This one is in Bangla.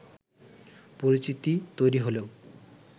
পরিচিতি তৈরি হলেও